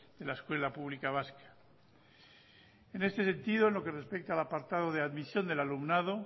de la escuela pública vasca en este sentido lo que respecta al apartado de admisión del alumnado